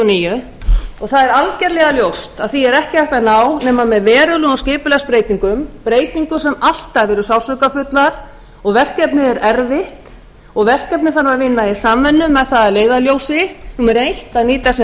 níu og það er algerlega ljóst að því er ekki hægt að ná nema með verulegum skipulagsbreytingum breytingum sem alltaf eru sársaukafullar og verkefnið er erfitt og verkefnið þarf að vinna í samvinnu með það að leiðarljósi að nýta sem